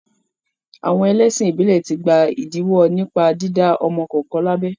Àwọn ẹlẹ́sìn ìbílẹ̀ ti gba ìdíwọ́ nípa dídá ọmọ kankan lábẹ.